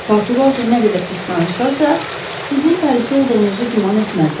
Portuqalca nə qədər pis danışsanız da, sizin parisli olduğunuzu güman etməzlər.